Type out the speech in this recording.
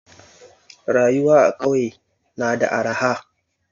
Rayuwa a kauye na da arha